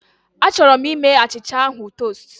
Achọrọ m ime achịcha ahụ tost